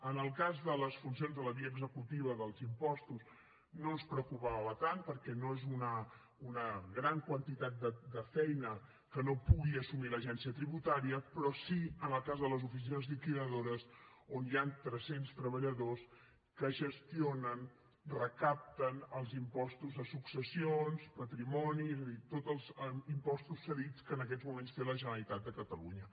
en el cas de les funcions de la via executiva dels impostos no ens preocupava tant perquè no és una gran quantitat de feina que no pugui assumir l’agència tributària però sí que en el cas de les oficines liquidadores on hi han tres cents treballadors que gestionen recapten els impostos de successions patrimoni és a dir tots els impostos cedits que en aquests moments té la generalitat de catalunya